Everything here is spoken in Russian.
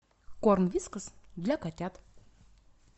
корм вискас для котят